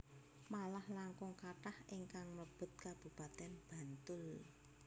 Malah langkung kathah ingkang mlebet Kabupaten Bantul